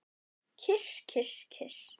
Kyss, kyss, kyss.